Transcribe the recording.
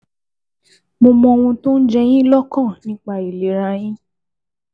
Mo mọ ohun tó ń jẹ yín lọ́kàn nípa ìlera yín